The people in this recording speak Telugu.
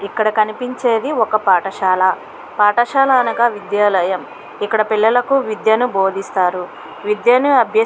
ఇక్కడ కనిపించేది ఒక పాఠశాల. పాఠశాల అనగా విద్యాలయం. ఇక్కడ పిల్లలకు విద్యను బోధిస్తారు. విద్యను అభ్యర్--